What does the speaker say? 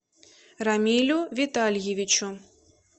рамилю витальевичу